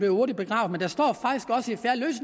hurtigt begravet